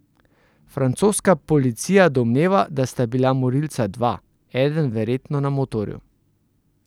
Francoska policija domneva, da sta bila morilca dva, eden verjetno na motorju.